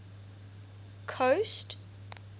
coast